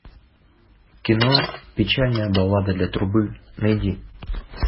кино печальная баллада для трубы найди